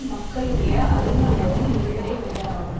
மக்களுடைய அறிவு இனத்தின் இயல்பினை உடையதாகும்